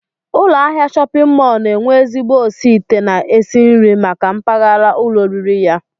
Ụlọahịa shọpịn mọl na-enwe ezigbo osiite na-esi nri maka mpaghara ụlọoriri ya